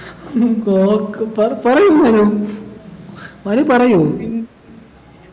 ഹും ഗോവക്ക പ പറയു മനു മനു പറയു